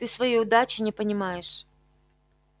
ты своей удачи не понимаешь